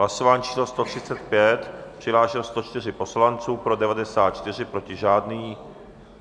Hlasování číslo 135, přihlášeno 104 poslanců, pro 94, proti žádný.